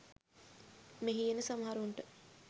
මෙහි එන සමහරුන්ට